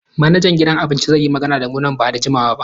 Manajan gidan abincin zai yi magana da mu nan ba da jimawa ba.